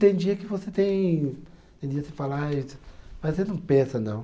Tem dia que você tem. Tem dia que você fala ai. Mas você não pensa, não.